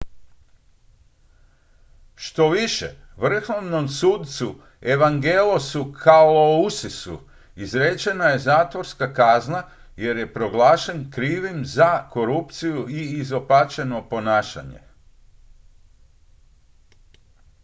štoviše vrhovnom sucu evangelosu kalousisu izrečena je zatvorska kazna jer je proglašen krivim za korupciju i izopačeno ponašanje